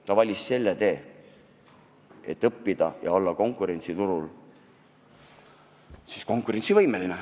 Ta valis selle tee, et õppida ja olla tööjõuturul konkurentsivõimeline.